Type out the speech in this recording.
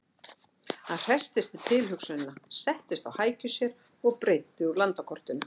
Hann hresstist við tilhugsunina, settist á hækjur sér og breiddi úr landakortinu.